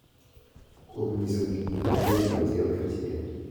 Kuom nyiso ji gik ma igeno achiel kachiel,